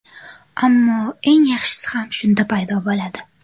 Ammo eng yaxshisi ham shunda paydo bo‘ladi.